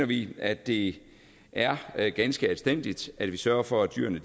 vi at det er er ganske anstændigt at vi sørger for at dyrene